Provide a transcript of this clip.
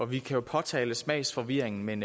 vi kan jo påtale smagsforvirringen men